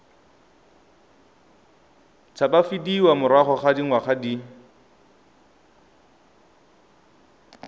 tshabafadiwa morago ga dingwaga di